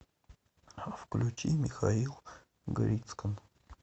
включи михаил грицкан